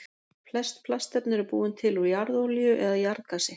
Flest plastefni eru búin til úr jarðolíu eða jarðgasi.